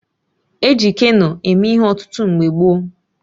E ji Keno eme ihe ọtụtụ mgbe gboo